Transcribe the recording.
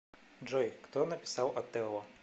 джой кто написал отелло